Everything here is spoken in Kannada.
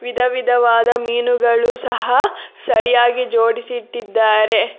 ವಿಧವಿಧವಾದ ಮೀನುಗಳು ಸಹ ಸರಿಯಾಗಿ ಜೋಡಿಸಿಟ್ಟಿದ್ದಾರೆ.